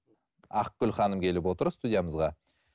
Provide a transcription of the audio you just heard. ақгүл ханым келіп отыр студиямызға